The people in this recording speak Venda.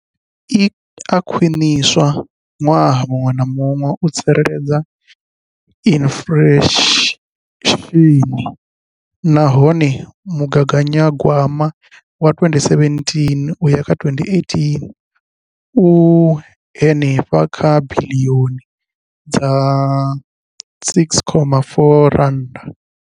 Iyi i a khwiniswa ṅwaha muṅwe na muṅwe u tsireledza inflesheni nahone mugaganyagwama wa 2017 uya kha 2018 u henefha kha biḽioni dza R6.4.